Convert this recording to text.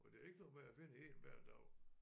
Og det er ikke noget med jeg finder en hver dag